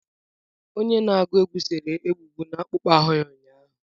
Onye na-agụ egwú sere egbugbu n'akpụkpọ ahụ ya ụnyaahụ.